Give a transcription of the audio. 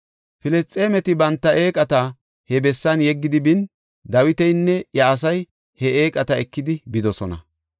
Filisxeemeti banta eeqata he bessan yeggidi bin, Dawitinne iya asay he eeqata ekidi bidosona.